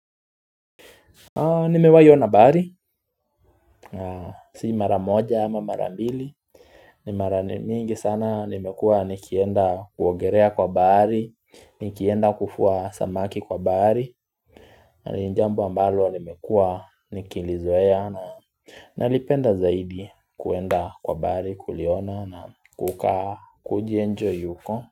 Nimewai ona bahari Si mara moja ama mara mbili ni mara mingi sana nimekua nikienda kuogelea kwa bahari, nikienda kufua samaki kwa bahari na jambo ambalo nimekua nikilizoea na nalipenda zaidi kuenda kwa bahari kuliona na kukaa kujienjoy huko.